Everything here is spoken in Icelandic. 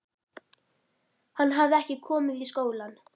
Hann hafði ekki komið í skólann.